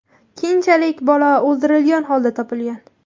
Keyinchalik bola o‘ldirilgan holda topilgan.